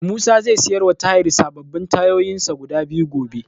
Musa zai siyarwa ta Tahir sababbin tayoyinsa guda biyu gobe.